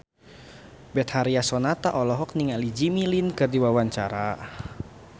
Betharia Sonata olohok ningali Jimmy Lin keur diwawancara